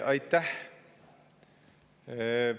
Aitäh!